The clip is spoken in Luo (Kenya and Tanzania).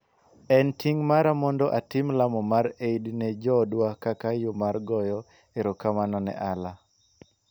en ting' mara mondo atim lamo mar Eid ne joodwa kaka yo mar goyo erokamano ne Allah,"